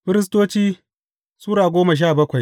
Firistoci Sura goma sha bakwai